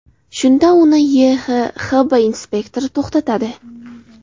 Shunda uni YHXB inspektori to‘xtatadi.